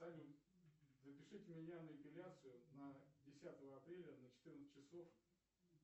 салют запишите меня на эпиляцию на десятого апреля на четырнадцать часов